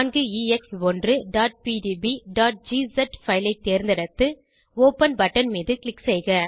4ex1pdbஜிஸ் file ஐ தேர்ந்தெடுத்து open button மீது க்ளிக் செய்க